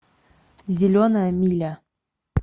зеленая миля